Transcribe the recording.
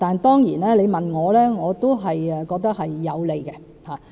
當然，如果你問我的意見，我也認為這是有利的。